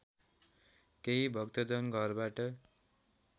केही भक्तजन घरबाट